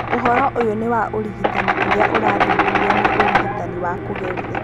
Ũhoro ũyũ nĩ wa ũrigitani ũrĩa ũrathuthurio nĩ ũrigitani wa kũgeria.